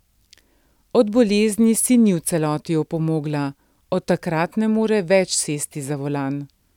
Od bolezni si ni v celoti opomogla, od takrat ne more več sesti za volan.